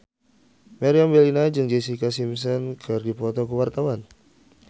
Meriam Bellina jeung Jessica Simpson keur dipoto ku wartawan